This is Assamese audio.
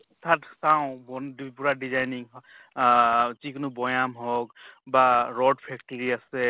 তাত চাওঁ পুৰা designing আহ যিকোনো বৈয়াম হওঁক, বা ৰদ factory আ